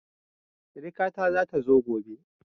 Siriƙa ta zata zo gobe